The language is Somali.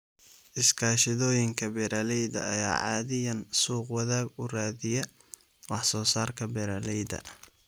Iskaashatooyinka beeralayda ayaa caadiyan suuq-wadaag u raadiya wax soo saarka beeralayda.